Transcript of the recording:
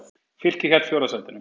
Fylkir hélt fjórða sætinu